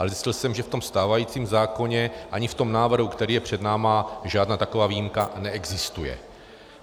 Ale zjistil jsem, že v tom stávajícím zákoně ani v tom návrhu, který je před námi, žádná taková výjimka neexistuje.